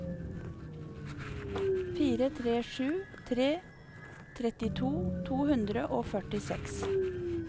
fire tre sju tre trettito to hundre og førtiseks